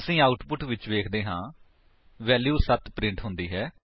ਅਸੀ ਆਉਟਪੁਟ ਵਿੱਚ ਵੇਖਦੇ ਹਾਂ ਵੈਲਿਊ 7 ਪ੍ਰਿੰਟ ਹੁੰਦੀ ਹੈ